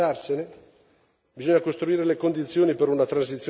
Bisogna dire che il presidente Kabila deve andarsene.